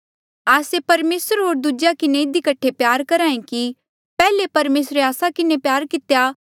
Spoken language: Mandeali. आस्से परमेसर होर दूजेया किन्हें इधी कठे प्यार करहा ऐें कि पैहले परमेसरे आस्सा किन्हें प्यार कितेया